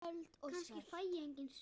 Kannski fæ ég engin svör.